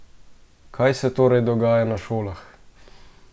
Kaj se torej dogaja na šolah?